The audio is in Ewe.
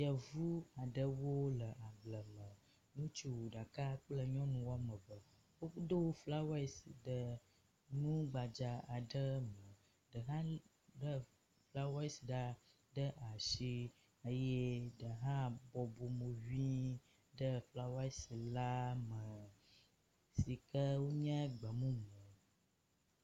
Yevu aɖewo le agble me. Ŋutsu ɖeka kple nyɔnu wome eve. Wodo flawesi ɖe nu gbadza aɖe me. Ɖe hã lé flawesi ɖe asi eye ɖe hã bɔbɔ mo ŋi ɖe flawesi la me si ke nye gbe mumu.